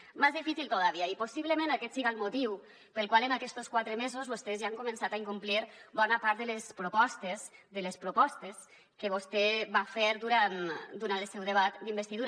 más difícil todavía i possiblement aquest siga el motiu pel qual en aquests quatre mesos vostès ja han començat a incomplir bona part de les propostes de les propostes que vostè va fer durant el seu debat d’investidura